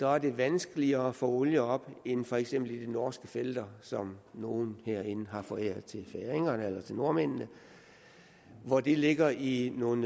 er det vanskeligere at få olie op end for eksempel i de norske felter som nogle herinde har foræret til færingerne eller til nordmændene hvor de ligger i nogle